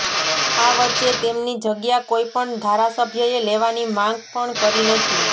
આ વચ્ચે તેમની જગ્યા કોઇ પણ ધારાસભ્યએ લેવાની માગ પણ કરી નથી